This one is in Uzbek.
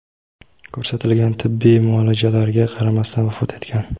ko‘rsatilgan tibbiy muolajalarga qaramasdan vafot etgan.